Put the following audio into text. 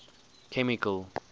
chemical